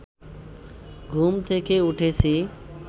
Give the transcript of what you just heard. ঘুম থেকে উঠেছি